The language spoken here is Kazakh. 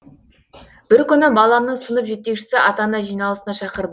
бір күні баламның сынып жетекшісі ата ана жиналысына шақырды